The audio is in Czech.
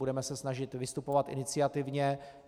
Budeme se snažit vystupovat iniciativně.